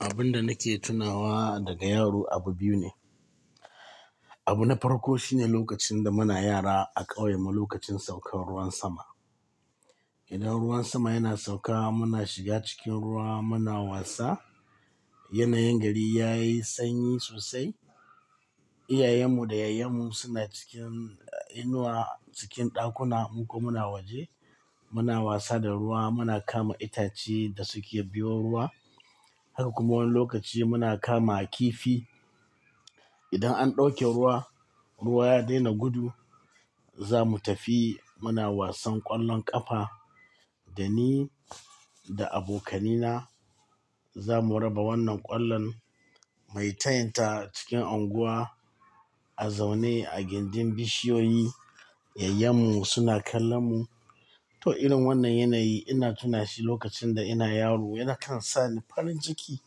Abun da nake tunawa daga yaro abu biyu ne. Abu na farko shine lokacin da muna yara a ƙauyen mu lokacin saukar ruwan sama. Idan ruwan sama yana sauka muna shiga cikin ruwa muna wasa. Yanayin gari yayi sanyi sosai. Iyayen mu da yayyen mu suna cikin inuwa cikin ɗakuna mu kuma muna waje. Muna wasa da ruwa muna kama itace da suke biyo ruwa. Haka kuma wani lokaci muna kama kifi. Idan an ɗauke ruwa, ruwa ya daina gudu, zamu tafi muna wasan ƙwallon ƙafa da ni da abokanai na zamu raba wannan ƙwallon mai tayinta cikin unguwa a zaune a gindin bishiyoyi. Yayyen mu suna kallon mu. To irin wannan yanayi ina tuna shi lokacin da ina yaro yana kan sa ni farin ciki.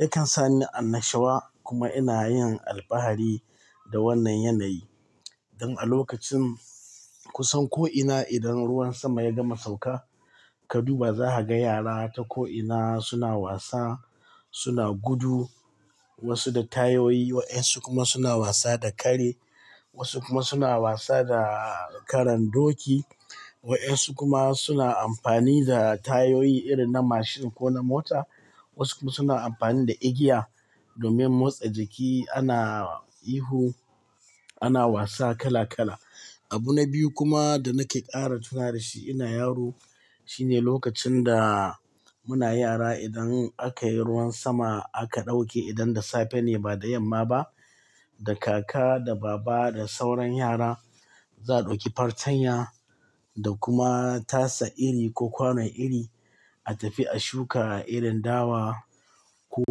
Yakan sa ni annashuwa kuma ina yin alfahari da wannan yanayi. Don a lokacin kusan ko'ina idan ruwan sama ya gama sauka ka duba za a ga yara ta ko'ina suna wasa suna gudu wasu da tayoyi waɗansu kuma suna wasa da kare. Wasu kuma suna wasa da karan doki. Waɗansu kuma suna amfani da tayoyi irin na mashin ko na mota. Wasu kuma suna amfani da igiya domin motsa jiki ana ihu ana wasa kala kala. Abu na biyu kuma da nake ƙara tunawa da shi ina yaro shine lokacin da muna yara idan aka yi ruwan sama aka ɗauke idan da safe ne ba da yamma ba da kaka da baba da sauran yara za a ɗauki fartanya da kuma tasa iri ko kwanon iri a tafi a shuka irin dawa ko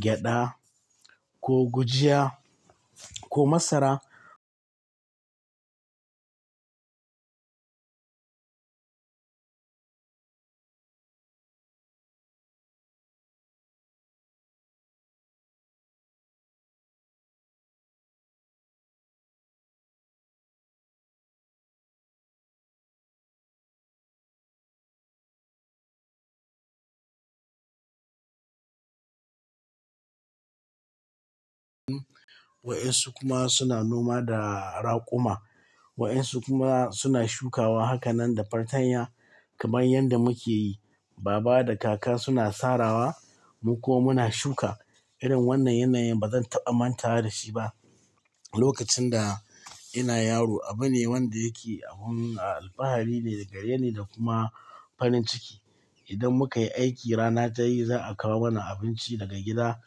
gyaɗa ko gujiya ko masara. Waƴansu kuma suna noma da raƙuma. Wa'ansu kuma suna shukawa. Haka nan da fartanya kamar yadda muke yi baba da kaka suna sarawa mu kuma muna shuka. Irin wannan yanayin bazan taɓa mantawa da shi ba. Lokacin da ina yaro abu ne wanda yake abun alfahari ne da gare ni da kuma farin ciki. Idan muka yi aiki rana ta yi za a kawo mana abinci daga gida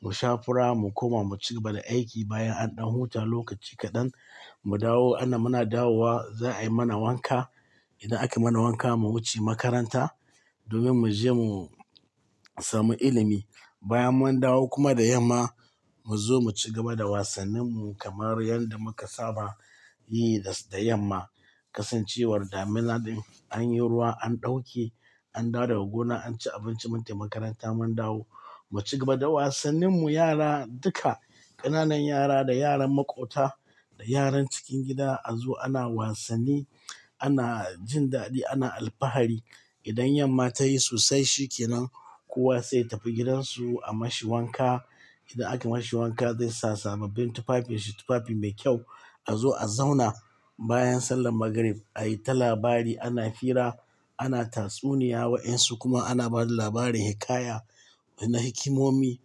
mu sha fura mu kuma mu cigaba da aiki bayan an ɗan huta lokaci kaɗan mu dawo ana mana dawowa za a yi mana wanka. Idan aka mana wanka mu wuce makaranta domin mu je mu samu ilimi. Bayan mun dawo kuma da yamma mu zo mu cigaba da wasannin mu kamar yadda muka saba yi da yamma. Kasancewar damina an yi ruwa an ɗauke an dawo gona an ci abinci mun tafi makaranta mun dawo mu cigaba da wasannin mu yara duka ƙananan yara da yaran maƙota da yaran cikin gida a zo ana wasanni ana jin daɗi ana alfahari. Idan yamma ta yi sosai shi ke nan kowa sai ya tafi gidansu a mashi wanka. Idan aka mashi wanka zai sa sababbin tufafi shi tufafi mai kyau a zo a zauna bayan sallar magarib a yi ta labari ana fira ana tatsuniya waƴansu kuma ana ba da labarin hikaya na hikimomi.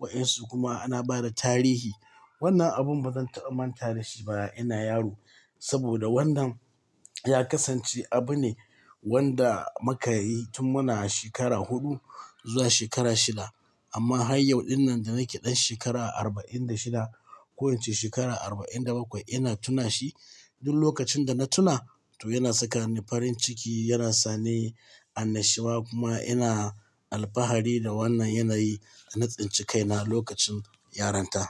Waƴansu kuma ana ba da tarihi. Wannan abun bazan taɓa manta da shi ba ina yaro. Saboda wannan ya kasance abu ne wanda muka yi tun muna shekara huɗu zuwa shekara shida. Amma har yau dinnan da nake ɗan shekara arba'in da shida ko yace shekara arba'in da bakwai ina tuna shi. Duk lokacin da na tuna to yana saka ni farin ciki yana sa ni annashuwa kuma ina alfahari da wannan yanayi na tsinci kaina lokacin yaronta.